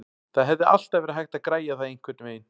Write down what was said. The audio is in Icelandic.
Það hefði alltaf verið hægt að græja það einhvernveginn.